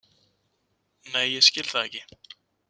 Nei ég skil það ekki.